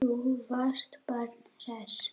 Þú varst bara hress.